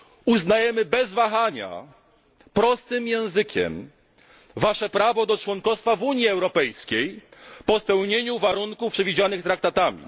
Uznajemy bez wahania prostym językiem Wasze prawo do członkostwa w Unii Europejskiej po spełnieniu warunków przewidzianych traktatami.